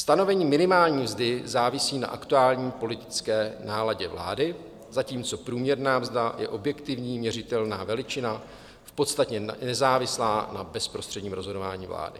Stanovení minimální mzdy závisí na aktuální politické náladě vlády, zatímco průměrná mzda je objektivní, měřitelná veličina, v podstatě nezávislá na bezprostředním rozhodování vlády.